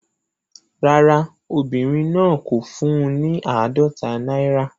Rárá, obìnrin náà kò fún un ní àádọ́ta náírà.